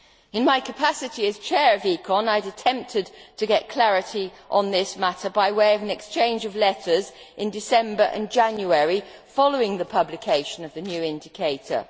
In my capacity as Chair of ECON, I attempted to get clarity on this matter by way of an exchange of letters in December and January, following the publication of the new indicator.